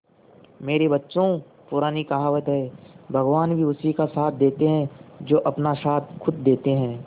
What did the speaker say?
मेरे बच्चों पुरानी कहावत है भगवान भी उसी का साथ देते है जो अपना साथ खुद देते है